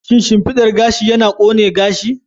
Shin shimfidar gashi yana ƙone gashi?